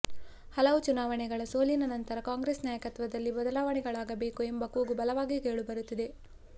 ಹಲವು ಚುನಾವಣೆಗಳ ಸೋಲಿನ ನಂತರ ಕಾಂಗ್ರೆಸ್ ನಾಯಕತ್ವದಲ್ಲಿ ಬದಲಾವಣೆಗಳಾಗಬೇಕು ಎಂಬ ಕೂಗು ಬಲವಾಗಿ ಕೇಳಿ ಬರುತ್ತಿದೆ